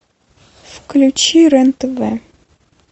включи рен тв